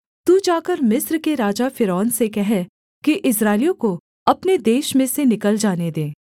तू जाकर मिस्र के राजा फ़िरौन से कह कि इस्राएलियों को अपने देश में से निकल जाने दे